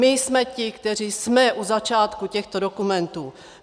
My jsme ti, kteří jsme u začátku těchto dokumentů.